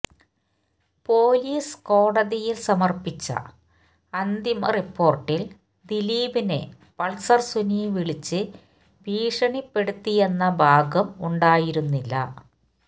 police കോടതിയില് സമര്പ്പിച്ച അന്തിമ റിപ്പോര്ട്ടില് ദിലീപിനെ പള്സര് സുനി വിളിച്ച് ഭീഷണിപ്പെടുത്തിയെന്ന ഭാഗം ഉണ്ടായിരുന്നില്ല